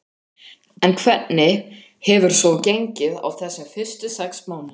En hvernig hefur svo gengið á þessum fyrstu sex mánuðum?